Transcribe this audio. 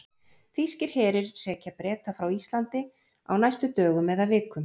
Þýskir herir hrekja Breta frá Íslandi á næstu dögum eða vikum.